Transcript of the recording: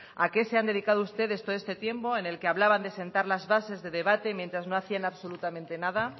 a qué se han dedicado ustedes todo este tiempo en el que hablaban de sentar las bases de debate mientras no hacían absolutamente nada